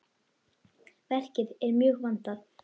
Verkið er mjög vandað.